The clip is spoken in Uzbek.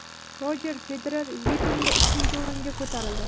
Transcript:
Rojer Federer reytingda ikkinchi o‘ringa ko‘tarildi.